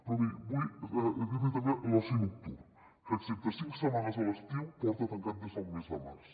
però miri vull dir l’hi també l’oci nocturn que excepte cinc setmanes a l’estiu porta tancat des del mes de març